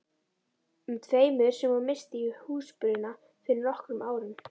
um tveimur sem hún missti í húsbruna fyrir nokkrum árum.